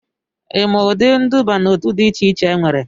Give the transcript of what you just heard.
ị maa ụdị nduba n'otu dị iche iche enwere?